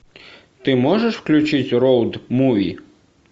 ты можешь включить роад муви